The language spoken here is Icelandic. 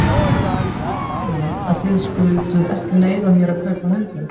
Mér þykir leiðinlegt að þið skylduð ekki leyfa mér að kaupa hundinn.